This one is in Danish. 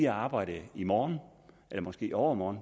arbejde i morgen eller måske i overmorgen